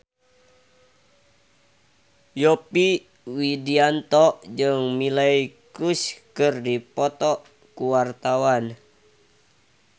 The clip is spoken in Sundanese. Yovie Widianto jeung Miley Cyrus keur dipoto ku wartawan